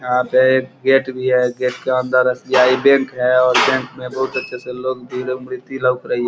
यहाँ पे गेट भी है। गेट के अंदर एस.बी.आई. बैंक है और बैंक में बोहोत अच्छे से लोग --